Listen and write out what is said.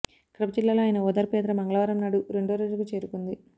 కడప జిల్లాలో ఆయన ఓదార్పు యాత్ర మంగళవారంనాడు రెండో రోజుకు చేరుకుంది